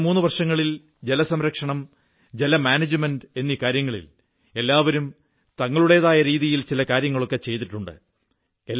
കഴിഞ്ഞ മുന്നു വർഷങ്ങളിൽ ജലസംരക്ഷണം ജലമാനേജ്മെന്റ് കാര്യങ്ങളിൽ എല്ലാവരും തങ്ങളുടേതായ രീതിയിൽ ചില കാര്യങ്ങളൊക്കെ ചെയ്തിട്ടുണ്ട്